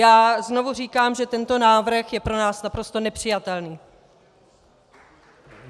Já znovu říkám, že tento návrh je pro nás naprosto nepřijatelný!